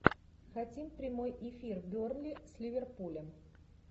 хотим прямой эфир бернли с ливерпулем